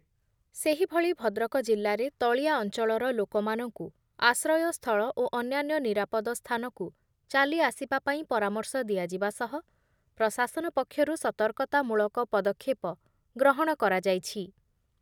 ସେହିଭଳି ଭଦ୍ରକ ଜିଲ୍ଲାରେ ତଳିଆ ଅଞ୍ଚଳର ଲୋକମାନଙ୍କୁ ଆଶ୍ରୟ ସ୍ଥଳ ଓ ଅନ୍ୟାନ୍ୟ ନିରାପଦ ସ୍ଥାନକୁ ଚାଲି ଆସିବା ପାଇଁ ପରାମର୍ଶ ଦିଆଯିବା ସହ ପ୍ରଶାସନ ପକ୍ଷରୁ ସତର୍କତା ମୂଳକ ପଦକ୍ଷେପ ଗ୍ରହଣ କରାଯାଇଛି ।